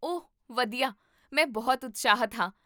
ਓਹ ਵਧੀਆ, ਮੈਂ ਬਹੁਤ ਉਤਸ਼ਾਹਿਤ ਹਾਂ